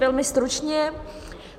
Velmi stručně.